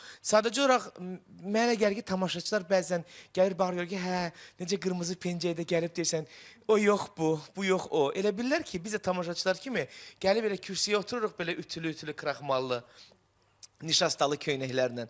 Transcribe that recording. Sadəcə olaraq mənə elə gəlir ki, tamaşaçılar bəzən gəlir baxır görür ki, hə, necə qırmızı pəncə idi gəlib deyirsən o yox bu, bu yox o, elə bilirlər ki, biz də tamaşaçılar kimi gəlib elə kürsüyə otururuq belə ütülü-ütülü kraxmallı nişastalı köynəklərinən.